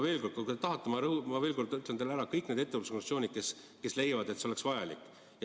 Kui te tahate, siis ma veel kord nimetan teile kõik need ettevõtlusorganisatsioonid, kes leiavad, et see on vajalik.